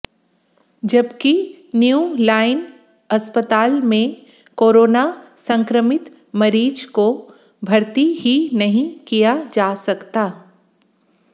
जबकि new line अस्पताल में कोरोना संक्रमित मरीज को भर्ती ही नहीं किया जा सकता